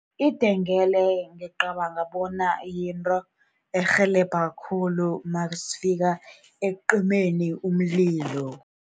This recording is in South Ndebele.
Idengele ngicabanga bona yinto erhelebha khulu nasifika ekucimeni umlilo